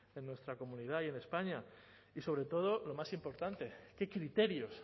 en nuestra comunidad y en españa y sobre todo lo más importante qué criterios